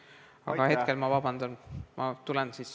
Aga hetkel palun vabandust!